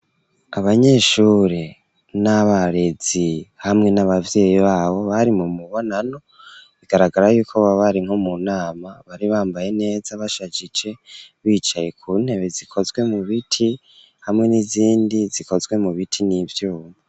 Abanyeshuri n'abarezi hamwe n'abavyeyi babo bari mu mubonano bigaragara yuko boba bari nko mu nama bari bambaye neza bashajije bicaye ku ntebe zikozwe mu biti hamwe n'izindi zikozwe mu biti n'ivyuma.